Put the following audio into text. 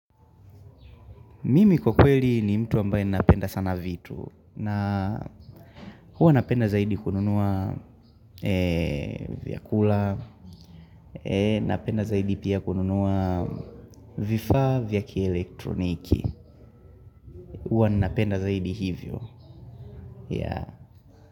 Mimi kwa kweli ni mtu ambaye napenda sana vitu. Na huwa napenda zaidi kununua vyakula. Napenda zaidi pia kununua vifaa vya kielektroniki. Huwa ninapenda zaidi hivyo.